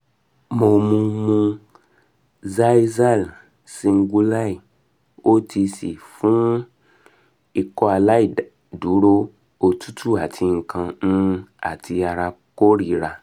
mo mu mu xyzal singulair otc fun um ikọaláìdúró otutu ati nkan um ti ara korira